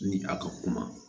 Ni a ka kuma